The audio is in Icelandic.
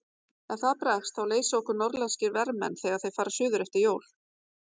Ef það bregst þá leysa okkur norðlenskir vermenn þegar þeir fara suður eftir jól.